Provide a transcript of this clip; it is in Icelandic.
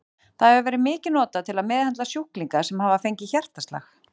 Það hefur verið mikið notað til að meðhöndla sjúklinga sem hafa fengið hjartaslag.